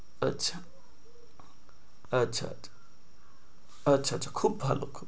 আচ্ছা আচ্ছা আচ্ছা আচ্ছা আচ্ছা খুব ভালো খুব